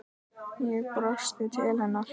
Ég brosti til hennar.